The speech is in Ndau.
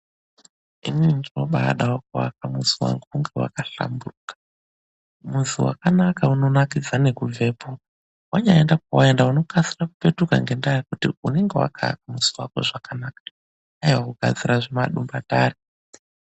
Inini ndinobadawo kuaka muzi wangu unge wakahlamburuka, muzi wakanaka unonakidza ngekubvepo wanyaenda kwawaenda unokasira kupetuka ngendaa yekuti unenge wakaaka muzi wako zvakanaka, aiwa kugadzira zvimadumbatare.